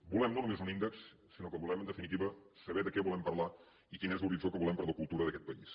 volem no només un índex sinó que volem en definitiva saber de què volem parlar i quin és l’horitzó que volem per a la cultura d’aquest país